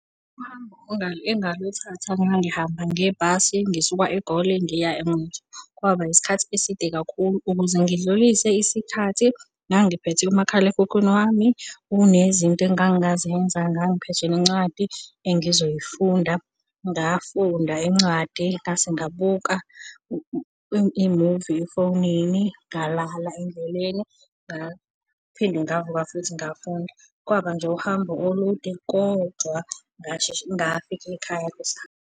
Uhambo engaluthatha ngangihamba ngebhasi ngisuka eGoli ngiya eNquthu, kwaba isikhathi eside kakhulu. Ukuze ngidlulise isikhathi ngangiphethe umakhalekhukhwini wami unezinto engangingazenza, ngangiphethe nencwadi engizoyifunda. Ngafunda incwadi ngase ngabuka i-movie efonini, ngalala endleleni ngaphinde ngavuka futhi ngafunda. Kwaba nje uhambo olude, kodwa ngasheshe ngafika ekhaya kusakhanya.